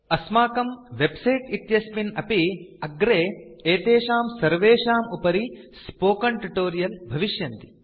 अस्माकं वेबसाइट इत्यस्मिन् अपि अग्रे एतेषां सर्वेषाम् उपरि स्पोकेन ट्यूटोरियल्स् भविष्यन्ति